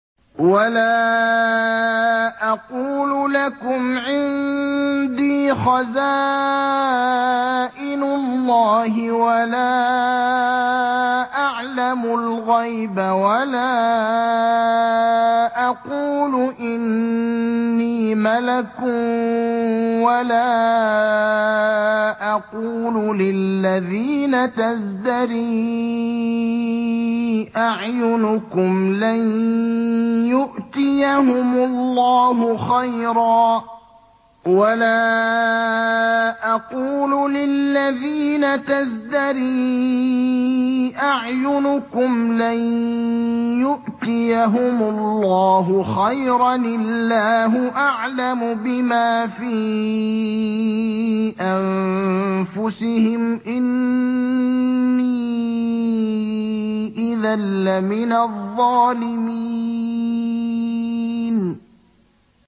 وَلَا أَقُولُ لَكُمْ عِندِي خَزَائِنُ اللَّهِ وَلَا أَعْلَمُ الْغَيْبَ وَلَا أَقُولُ إِنِّي مَلَكٌ وَلَا أَقُولُ لِلَّذِينَ تَزْدَرِي أَعْيُنُكُمْ لَن يُؤْتِيَهُمُ اللَّهُ خَيْرًا ۖ اللَّهُ أَعْلَمُ بِمَا فِي أَنفُسِهِمْ ۖ إِنِّي إِذًا لَّمِنَ الظَّالِمِينَ